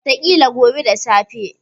Wataƙila kuna son makaroni.